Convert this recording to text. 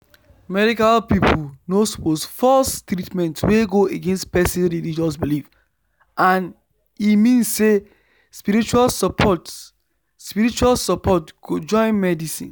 medical people no suppose force treatment wey go against person religious belief and e mean say spiritual support spiritual support go join medicine